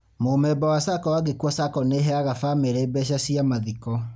Mũmemba wa SACCO angĩkua SACCO nĩheaga bamĩrĩ mbeca cia mathiko